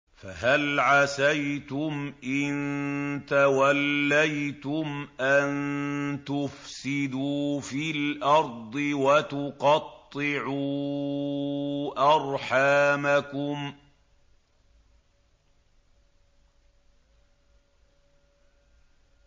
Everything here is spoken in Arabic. فَهَلْ عَسَيْتُمْ إِن تَوَلَّيْتُمْ أَن تُفْسِدُوا فِي الْأَرْضِ وَتُقَطِّعُوا أَرْحَامَكُمْ